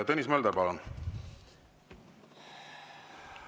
Tõnis Mölder, palun!